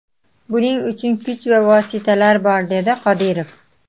Buning uchun kuch va vositalar bor”, dedi Qodirov.